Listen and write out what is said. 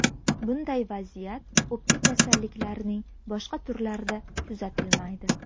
Bunday vaziyat o‘pka kasalliklarining boshqa turlarida kuzatilmaydi.